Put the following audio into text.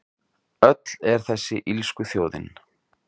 Öll er þessi illskuþjóðin